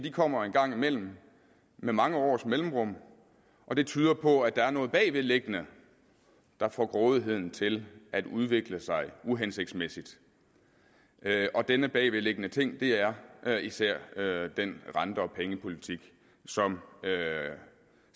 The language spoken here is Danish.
kommer en gang imellem med mange års mellemrum og det tyder på at der er noget bagvedliggende der får grådigheden til at udvikle sig uhensigtsmæssigt og denne bagvedliggende ting er er især den rente og pengepolitik som